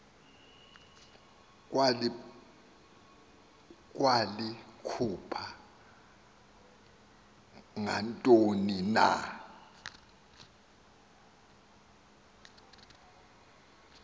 walikhupha ngantoni na